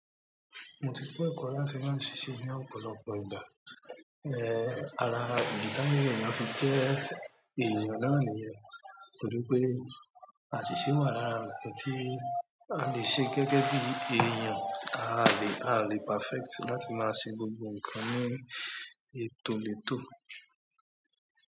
Mo ti kọ́ ẹ̀kọ́ láti máa ṣiṣẹ́ ní ọ̀pọ̀lọpọ̀ ìgbà. Ehn, ara ìdí táyà ni a fi jẹ́ èèyàn láàrín wọn torí pé àṣíse wà lára ẹniti a le ṣe gẹ́gẹ́ bí èèyàn, a le, a le perfect láti máa ṣe gbogbo nkan ní ètò lètò.